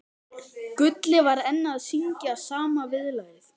Gulli var enn að syngja sama viðlagið.